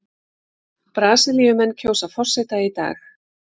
Brasilíumenn kjósa forseta í dag